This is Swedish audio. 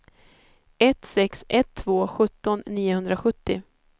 ett sex ett två sjutton niohundrasjuttio